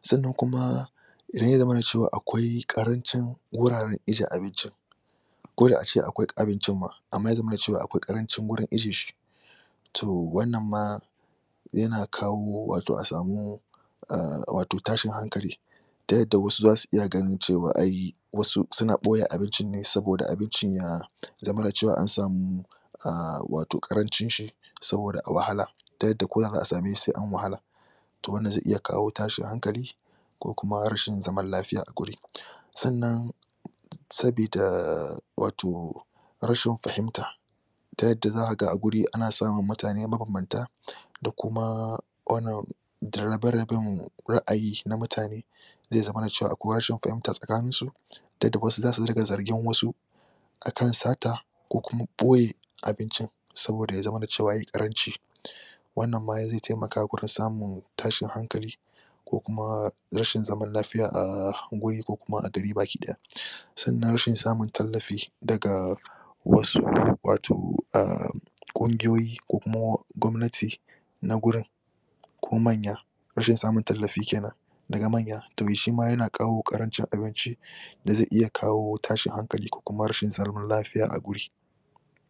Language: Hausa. Sannan kuma, idan ya zamana akwai ƙarancin wuraren ajiye abincin ko da a ce akwai abincin ma amma ya zamana cewa akwai ƙarancin wurin ajiye shi to wannan ma yana kawo wato a samu ahh wato tashin hankali, ta yadda wasu za su iya ganin cewa ai wasu suna ɓoye abincinne saboda abincin ya zamana cewa an samu ahh wato ƙarancin shi saboda wahala ta yadda ko da za'a same shi sai an wahala. To wannan zai iya kawo tashin hankali ko kuma rashin zaman lafiya a guri. Sannan sabida wato, rashin fahimta, ta yadda za ka ga a wuri ana samun mutane wato mabanbanta da kuma wanan da rabe-raben ra'ayi na mutane, zai zaman cewa akwai rashin fahimta a tsakaninsu ta yadda wasu za su riga zargin wasu akan sata ko kuma ɓoye abincin saboda ya zamana da cewa yayi ƙaranci. Wannan ma zai taimaka fgurin samun tashin hankali ko kuma rashin zaman lafiya a guri ko kuma a gari baki ɗaya. Sannan rashn samun tallafi daga wasu wato aahh ƙungiyoyi ko kuma gwamnati, na gurin ko manya. Rashin samun tallafi daga manya to shima yana kawo ƙarancin abinci da zai iya kawo tashin hankali kokuma rashin zaman lafiya a wuri.